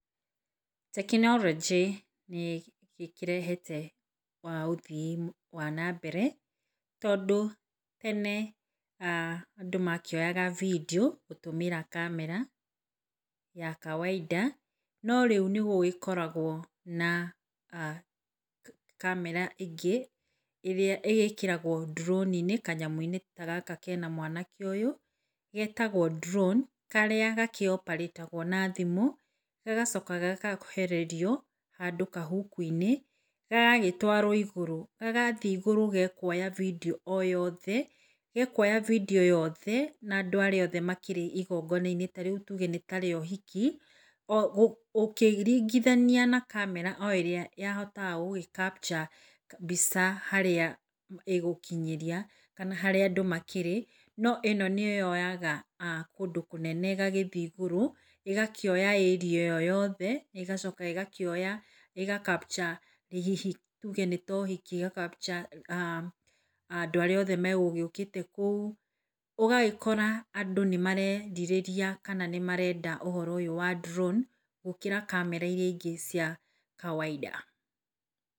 Tekinoronjĩ nĩkĩrehete wa ũthii wa Nambere tondũ tene ah andũ makĩoyaga vindio gũtũmĩra kamera ya kawainda norĩu nĩgũkoragwo na kamera ĩngĩ ĩrĩa ĩgĩkĩragwo ndrowninĩ kanyamũ ta gaka kena mwanake ũyũ getagwo drone kĩrĩa gakĩoparĩtagwo na thimũ agacoka gagakuhĩrĩrio handũ kahuku-inĩ. Gagagĩtwaro igũrũ, gathiĩ igũrũ gekuoya bindio o yothe , gekuoya bindio yothe na andũ arĩa makĩrĩ igonga inĩ tarĩu nĩ tuge nĩ ta ũhiki. Ũkĩringithania na kamera o ĩrĩa yahotaga gũgĩkapcha mbica harĩa ĩgũkinyĩria kana harĩa andũ makĩrĩ no ĩno nĩyoyaga kũndũ kũnene ĩgagĩthiĩ igũrũ ĩgakĩoya ĩria ĩyo yothe ĩgacoka ĩgakĩoya, ĩgacapcture hihi tuge nĩ ta ũhiki ĩgakapcha andũ arĩa othe magũgĩũkĩte kũu. Ũgagĩkora andũ nĩ marerirĩria kana nĩmarenda ũhoro ũyũ wa drown gũkĩra kamera ĩrĩa ingĩ cia kawainda.